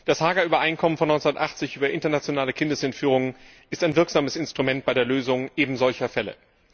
Das Haager Übereinkommen von 1980 über internationale Kindesentführung ist ein wirksames Instrument bei der Lösung ebensolcher Fälle.